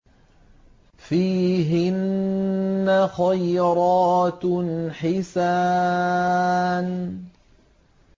فِيهِنَّ خَيْرَاتٌ حِسَانٌ